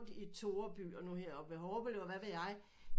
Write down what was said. I Toreby og nu her oppe i Hårlev og hvad ved jeg